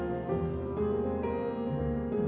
og